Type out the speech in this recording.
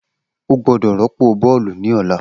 O gbọdọ rọpo bọọlu ni ọla!